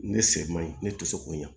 Ne se man ɲi ne tɛ se k'o ɲa